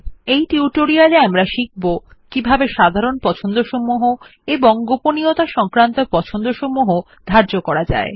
এই টিউটোরিয়ালে আমরা শিখবো160 কিভাবে জেনারেল প্রেফারেন্স এবং প্রাইভেসি প্রেফারেন্স ধার্য করা যায়